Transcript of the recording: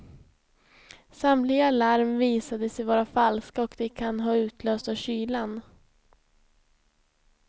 Samtliga larm visade sig vara falska och de kan ha utlösts av kylan.